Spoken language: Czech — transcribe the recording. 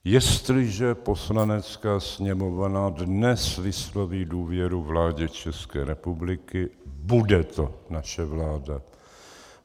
Jestliže Poslanecká sněmovna dnes vysloví důvěru vládě České republiky, bude to naše vláda.